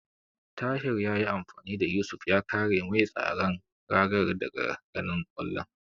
Tahir yayi amfani da Yusuf ya kare mai tsaron ragar daga ganin kwallon.